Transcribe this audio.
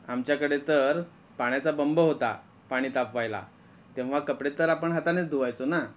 आमच्याकडे तर पाण्याचा बंब होता पाणी तापवायला तेव्हा कपडे तर आपण हाताने धुवायचो ना.